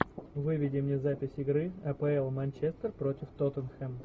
выведи мне запись игры апл манчестер против тоттенхэм